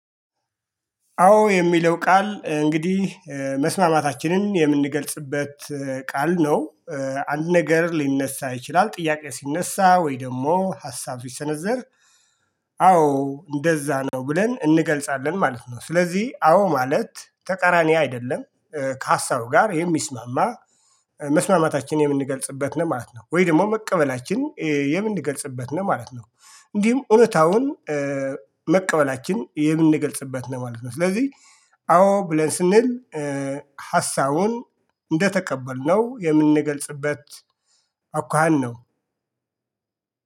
አዎ የሚለው ቃል እንግዲህ መስማማታችንን የምንገልጽበት ቃል ነው። አንድ ነገር ሊነሳ ይችላል ጥያቄ ሲነሳ ወይ ደግሞ ሀሳብ ሲሰነዘር አዎ እንደዛ ነው ብለን እንገልጻለን ማለት ነው። ስለዚህ አዎ ማለት ተቃራኒ አይደለም። ከሀሳቡ ጋር የሚስማማ መስማማታችን የምንገልጽበት ነው ማለት ነው። ወይ ደግሞ መቀበላችን የምንገልጽበት ነው ማለት ነው። እንዲሁም እውነታውን መቀበላችን የምንገልጽበት ነው ማለት ነው። ስለዚህ አዎ ብለን ስንል ሀሳቡን እንደተቀበልነው የምንገልጽበት አኳኋን ነው።